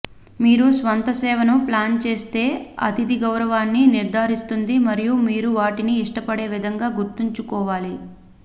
మీ స్వంత సేవను ప్లాన్ చేస్తే అతిథి గౌరవాన్ని నిర్ధారిస్తుంది మరియు మీరు వాటిని ఇష్టపడే విధంగా గుర్తుంచుకోవాలి